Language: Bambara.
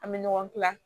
An bɛ ɲɔgɔn kila